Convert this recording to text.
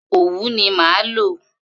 Òwú ni màá lò.